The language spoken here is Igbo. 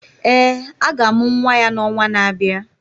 Ee, a ga-amụ nwa ya n’ọnwa na-abịa.